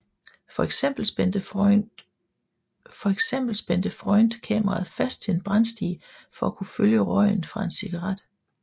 For eksempel spændte Freund kameraet fast til en brandstige for at kunne følge røgen fra en cigaret